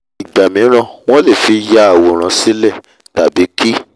ìgbà míràn wọ́n lè fi ya fi ya àwòrán sílẹ̀ tàbí kí